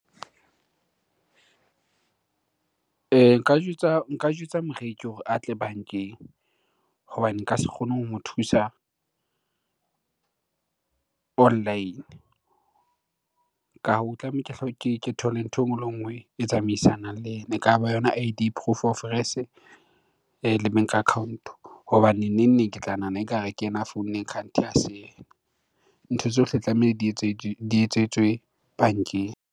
Nka jwetsa moreki hore a tle bankeng hobane nka se kgone ho mo thusa online. Ka hoo, ke thole ntho enngwe le nngwe e tsamaisanang le ena. Ekaba yona I_D, proof of le bank account. Hobane neng neng ke tla nahana ekare ke yena a founneng kganthe ha se yena. Ntho tsohle tlameha di etswetswe bankeng.